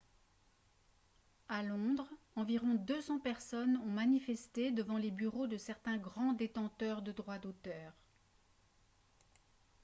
à londres environ 200 personnes ont manifesté devant les bureaux de certains grands détenteurs de droits d'auteur